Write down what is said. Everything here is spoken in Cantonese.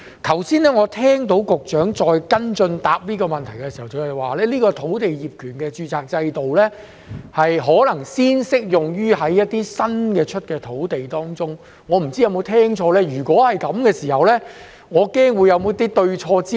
我剛才聽到局長跟進回答這個問題時表示，業權註冊制度可能先適用於一些新批土地，我不知有否聽錯，如果是這樣，我恐怕他們是否對焦錯誤呢？